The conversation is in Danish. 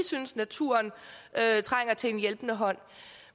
synes naturen trænger til en hjælpende hånd